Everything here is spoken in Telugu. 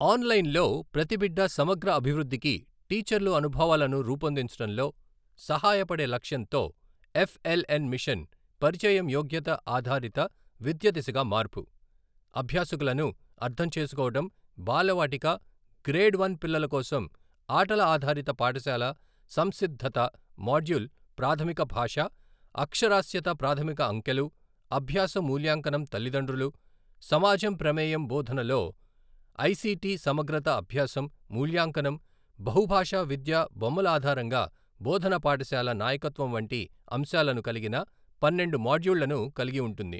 ఆన్లైన్లో ప్రతి బిడ్డ సమగ్ర అభివృద్ధికి టీచర్లు అనుభవాలను రూపొందించడంలో సహాయపడే లక్ష్యంతో ఎఫ్ ఎల్ ఎన్ మిషన్ పరిచయం యోగ్యత ఆధారిత విద్య దిశగా మార్పు. అభ్యాసకులను అర్థం చేసుకోవడం బాలవాటిక, గ్రేడ్ వన్ పిల్లల కోసం ఆటల ఆధారిత పాఠశాల సంసిద్ధత మాడ్యూల్ ప్రాథమిక భాష, అక్షరాస్యత ప్రాథమిక అంకెలు, అభ్యాస మూల్యాంకనం తల్లిదండ్రులు, సమాజం ప్రమేయం బోధనలో ఐసిటి సమగ్రత అభ్యాసం మూల్యాంకనం బహుభాషా విద్య బొమ్మల ఆధారంగా బోధన పాఠశాల నాయకత్వం వంటి అంశాలను కలిగిన పన్నెండు మాడ్యూళ్ళను కలిగి ఉంటుంది.